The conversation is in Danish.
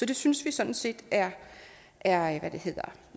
det synes vi sådan set er er